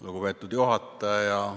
Lugupeetud juhataja!